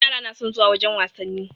Yara na son zuwa wajen wasanni.